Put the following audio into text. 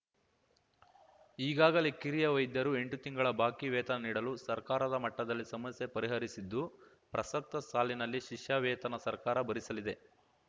ಈಗಾಗಲೇ ಕಿರಿಯ ವೈದ್ಯರು ಎಂಟು ತಿಂಗಳ ಬಾಕಿ ವೇತನ ನೀಡಲು ಸರ್ಕಾರದ ಮಟ್ಟದಲ್ಲಿ ಸಮಸ್ಯೆ ಪರಿಹರಿಸಿದ್ದು ಪ್ರಸಕ್ತ ಸಾಲಿನಲ್ಲಿ ಶಿಷ್ಯ ವೇತನ ಸರ್ಕಾರ ಭರಿಸಲಿದೆ